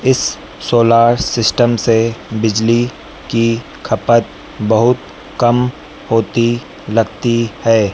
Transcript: इस solar system से बिजली की खपत बहुत कम होती लगती है।